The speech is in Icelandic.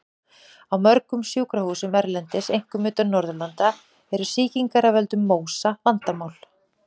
Á mörgum sjúkrahúsum erlendis, einkum utan Norðurlanda, eru sýkingar af völdum MÓSA vandamál.